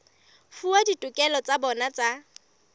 fuwa ditokelo tsa bona tsa